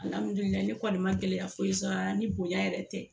ne kɔni ma gɛlɛya foyi sɔrɔ la ni bonya yɛrɛ tɛ